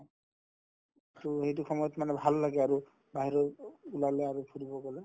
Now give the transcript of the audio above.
to সেইটো সময়ত মানে ভাল লাগে আৰু বাহিৰত ওলালে আৰু ফুৰিব গ'লে